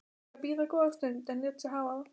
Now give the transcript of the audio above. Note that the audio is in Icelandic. Þurfti að bíða góða stund en lét sig hafa það.